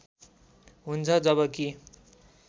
हुन्छ जब कि